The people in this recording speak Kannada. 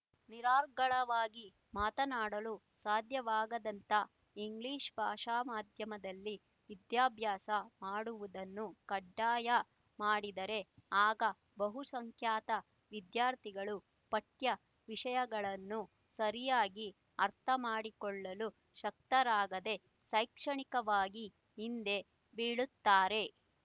ನಿರರ್ಗಳವಾಗಿ ಮಾತನಾಡಲು ಸಾಧ್ಯವಾಗದಂಥ ಇಂಗ್ಲೀಷ್ ಭಾಷಾ ಮಾಧ್ಯಮದಲ್ಲಿ ವಿದ್ಯಾಭ್ಯಾಸ ಮಾಡುವುದನ್ನು ಕಡ್ಡಾಯ ಮಾಡಿದರೆ ಆಗ ಬಹುಸಂಖ್ಯಾತ ವಿದ್ಯಾರ್ಥಿಗಳು ಪಠ್ಯವಿಷಯಗಳನ್ನು ಸರಿಯಾಗಿ ಅರ್ಥಮಾಡಿಕೊಳ್ಳಲು ಶಕ್ತರಾಗದೆ ಶೈಕ್ಷಣಿಕವಾಗಿ ಹಿಂದೆ ಬೀಳುತ್ತಾರೆ